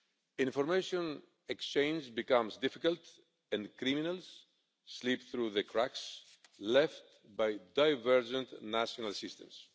Information exchange becomes difficult and criminals slip through the cracks left by divergent national systems.